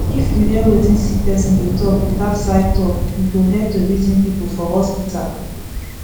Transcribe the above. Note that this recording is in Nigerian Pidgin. if you hear wetin sick person dey talk without side talk e go helep to reason people for hospital